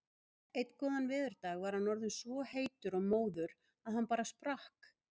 Einn góðan veðurdag var hann orðinn svo heitur og móður að hann bara sprakk.